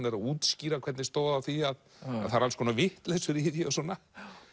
er að útskýra hvernig stóð á því að það eru alls konar vitleysur í því og svona